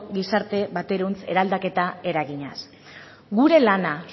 gizarte baterantz eraldaketa eraginez gure lana